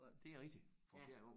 Det er rigtigt for fjerde gang